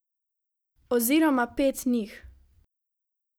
Oziroma pet njih.